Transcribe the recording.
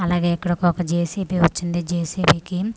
అలాగే ఇక్కడ ఒక జె_సి_పి వచ్చిందే జె_సి_బి కిమ్--